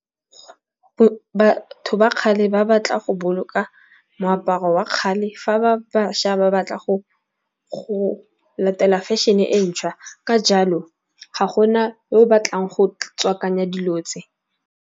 Batho ba kgale ba batla go boloka moaparo wa kgale fa ba bašwa ba batla go latela fashion-e e ntšhwa. Ka jalo ga gona yo o batlang go tswakanya dilo tse.